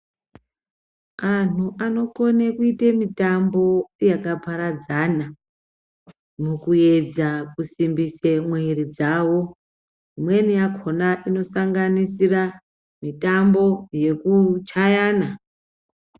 Anhu anokone kuite mitambo yakaparadzana mukuedza kusimbise mwiri dzawo. Imweni yakona inosanganisira mitambo yekuchayana.